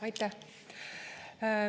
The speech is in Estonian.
Aitäh!